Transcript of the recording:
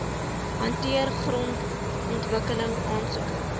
hanteer grondontwikkeling aansoeke